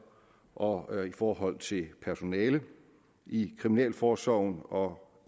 og i forhold til personale i kriminalforsorgen og